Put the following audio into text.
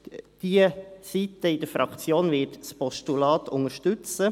Diese Seite der Fraktion wird das Postulat unterstützen.